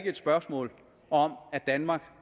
et spørgsmål om at danmark